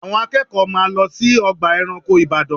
Àwọn akẹ́kọ̀ọ́ máa lọ sí ọgbà ẹranko Ìbàdàn